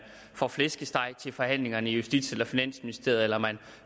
får flæskesteg til forhandlingerne i justits eller finansministeriet eller om man